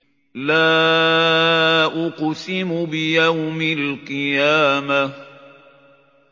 لَا أُقْسِمُ بِيَوْمِ الْقِيَامَةِ